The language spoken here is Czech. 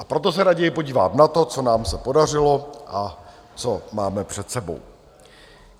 A proto se raději podívám na to, co nám se podařilo a co máme před sebou.